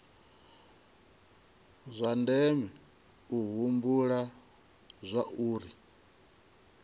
zwa ndeme u humbula zwauri